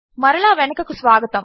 మరలా వెనుకకు స్వాగతము